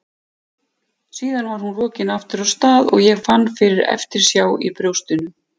Síðan var hún rokin aftur af stað og ég fann fyrir eftirsjá í brjóstinu.